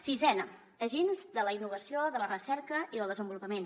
sisena agents de la innovació de la recerca i del desenvolupament